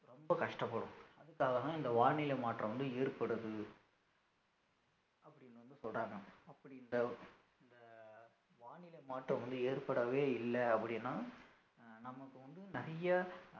ரொம்ப கஷ்டப்படும் அதுக்காகதான் இந்த வானிலை மாற்றம் வந்து ஏற்படுது அப்படின்னு வந்து சொல்றாங்க அப்படி இந்த இந்த வானிலை மாற்றம் வந்து ஏற்படவே இல்ல அப்படின்னா அஹ் நமக்கு வந்து நிறைய